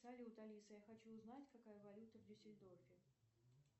салют алиса я хочу узнать какая валюта в дюссельдорфе